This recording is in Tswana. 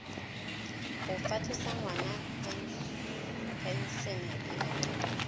go fatlhosa ngwana phensene ya